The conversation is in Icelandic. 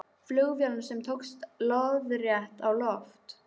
Flugvélum sem tókust lóðrétt á loft.